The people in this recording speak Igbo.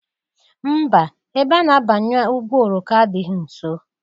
Mba! Ebe a na-abanye ụgbọ oroko adịghị nso.